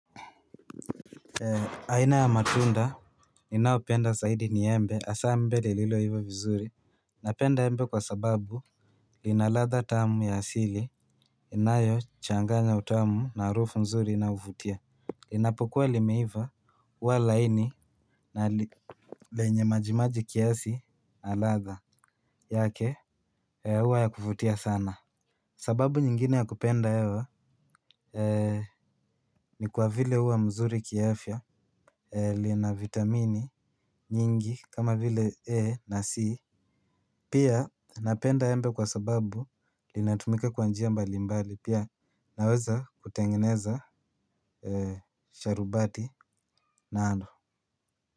Aina ya matunda ninaopenda saidi ni embe asaa embe lililoiva vizuri. Napenda embe kwa sababu lina ladha tamu ya asili inayo changanya utamu na harufu nzuri inayovutia. Linapokuwa limeiva uwa laini na lenye majimaji kiasi ladha yake huwa ya kuvutia sana. Sababu nyingine ya kupenda ewa ni kwa vile uwa mzuri kiafya. Lina vitamini nyingi kama vile A na C. Pia napenda embe kwa sababu linatumika kwa njia mbalimbali pia naweza kutengeneza sharubati nalo.